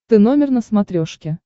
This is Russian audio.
ты номер на смотрешке